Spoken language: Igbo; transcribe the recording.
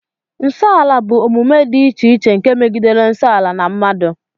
Nso ala bụ omume dị iche iche nke megidere nsọ ala na mmadụ